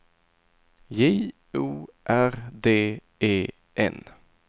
J O R D E N